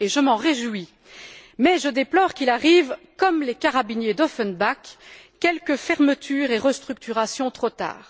Je m'en réjouis, mais je déplore qu'il arrive, comme les carabiniers d'Offenbach, quelques fermetures et quelques restructurations trop tard.